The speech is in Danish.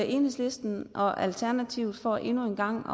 enhedslisten og alternativet for endnu en gang